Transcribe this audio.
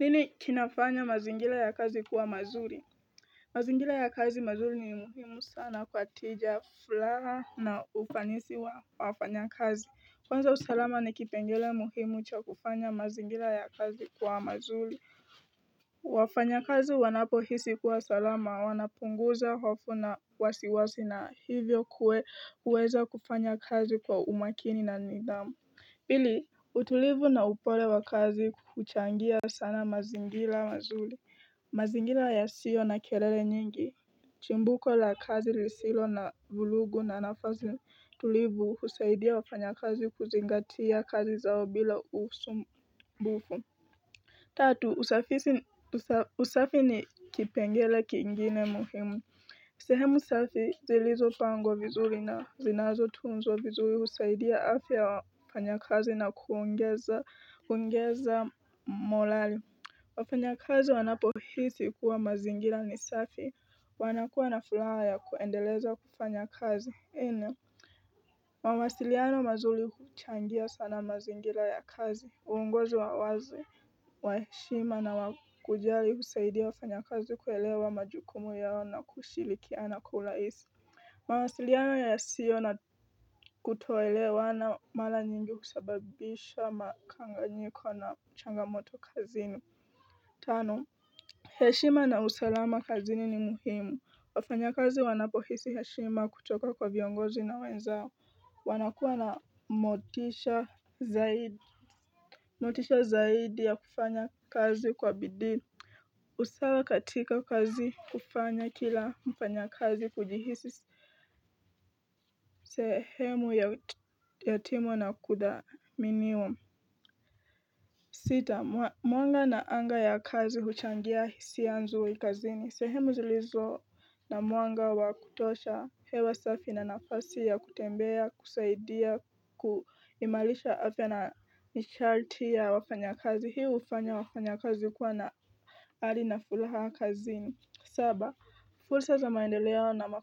Nini kinafanya mazingira ya kazi kuwa mazuri mazingira ya kazi mazuri ni muhimu sana kwatija furaha na ufanisi wa wafanya kazi Kwanza usalama ni kipengele muhimu cha kufanya mazingira ya kazi kuwa mazuri wafanya kazi wanapo hisi kuwa salama wanapunguza hofu na wasiwasi na hivyo kuwe uweza kufanya kazi kwa umakini na nidhamu Pili utulivu na upole wa kazi kuchangia sana mazingila mazuli mazingira ya sio na kelele nyingi Chimbuko la kazi lisilo na vulugu na nafazi tulivu husaidia wafanya kazi kuzingatia kazi zao bila usumbufu Tatu usafisi usafi ni kipengele kingine muhimu sehemu safi zilizo pangwa vizuri na zinazo tunzwa vizuri husaidia afya yawafanya kazi na kuongeza molali wafanya kazi wanapo hisi kuwa mazingira ni safi wanakuwa na furaha ya kuendeleza kufanya kazi ina mawasiliano mazuri huchangia sana mazingira ya kazi uongozi wa wazi wa heshima na wakujali husaidia wafanya kazi kuelewa majukumu yao na kushirikiana kwaulaisi mawasiliano ya sio na kutoelewana mara nyingi husababisha makanganyiko na changamoto kazini Tano, heshima na usalama kazini ni muhimu, wafanya kazi wanapohisi heshima kutoka kwa viongozi na wenzao wanakuwa na motisha zaidi motisha zaidi ya kufanya kazi kwa bidii usawa katika kazi hufanya kila mfanya kazi kujihisi sehemu ya timu na kudhaminiwa Sita, mwanga na anga ya kazi huchangia hisia nzuri kazini. Sehemu zilizo na mwanga wa kutosha hewa safi na nafasi ya kutembea, husaidia, kuimarisha afya na nishati ya wafanya kazi. Hii hufanya wafanya kazi kuwa na ari nafuraha kazini. Saba, fursa za maendelea na